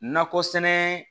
Nakɔ sɛnɛ